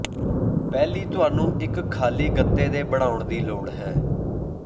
ਪਹਿਲੀ ਤੁਹਾਨੂੰ ਇੱਕ ਖਾਲੀ ਗੱਤੇ ਦੇ ਬਣਾਉਣ ਦੀ ਲੋੜ ਹੈ